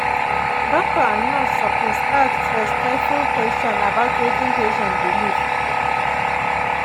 doctor and nurse suppose ask respectful question about wetin patient believe.